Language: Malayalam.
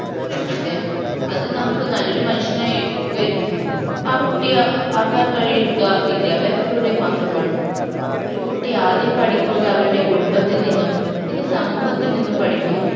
അതെ അതിന് നമുക്ക് നല്ലൊരു മനുഷ്യനായി ഉയർത്തി ആ കുട്ടിയെ ആക്കാൻ കഴിയുക വിദ്യാഭ്യാസത്തിലൂടെ മാത്രമാണ് ഒരു കുട്ടി ആദ്യം പഠിക്കുന്നത് അവരൻറെ കുടുംബത്തിൽ നിന്നും പിന്നെ സമൂഹത്തിൽ നിന്നും പഠിക്കുന്നു